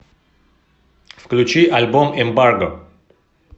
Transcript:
включи альбом эмбарго